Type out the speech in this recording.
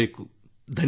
ಧನ್ಯವಾದಗಳು